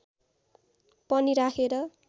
पनि राखेर